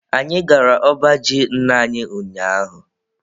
Anyị gara ọba ji nna anyi ụnyaahụ.